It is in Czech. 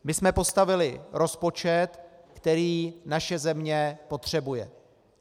My jsme postavili rozpočet, který naše země potřebuje.